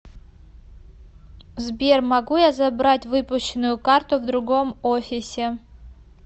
сбер могу я забрать выпущенную карту в другом офисе